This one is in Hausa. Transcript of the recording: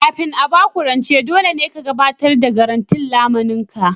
Kafin a ba ku rance, dole ne ka gabatar da garantin lamunin ka